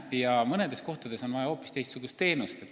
Ja mõnel pool on vaja hoopis teistsugust teenust.